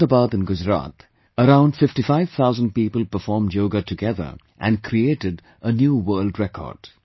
In Ahmedabad in Gujarat, around 55 thousand people performed Yoga together and created a new world record